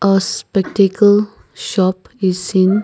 a spectacle shop is seen.